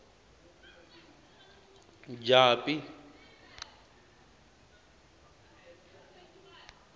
japi